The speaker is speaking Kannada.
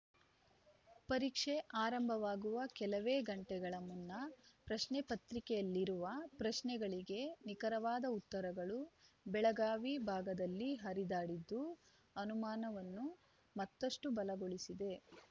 ಪರೀಕ್ಷೆ ಆರಂಭವಾಗುವ ಕೆಲವೇ ಗಂಟೆಗಳ ಮುನ್ನ ಪ್ರಶ್ನೆಪತ್ರಿಕೆಯಲ್ಲಿರುವ ಪ್ರಶ್ನೆಗಳಿಗೆ ನಿಖರವಾದ ಉತ್ತರಗಳು ಬೆಳಗಾವಿ ಭಾಗದಲ್ಲಿ ಹರಿದಾಡಿದ್ದು ಅನುಮಾನವನ್ನು ಮತ್ತಷ್ಟುಬಲಗೊಳಿಸಿದೆ